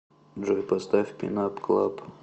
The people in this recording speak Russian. джой поставь пин ап клаб